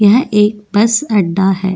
यह एक बस अड्डा है।